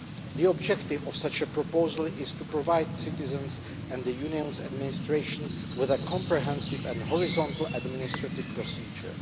The objective of such a proposal is to provide citizens and the Union's administration with a comprehensive and cross cutting administrative procedure.